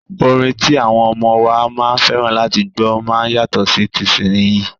Orin ti àwọn ọmọ wa máa fẹ́ràn láti gbọ́ máa yàtọ̀ sí tìsínyii.